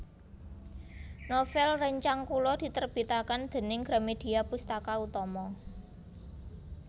Novel rencang kula diterbitaken dening Gramedia Pustaka Utama